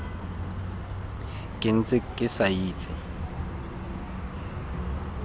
ke ntse ke sa itse